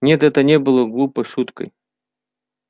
нет это не было глупой шуткой